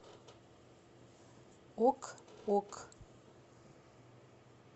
ок ок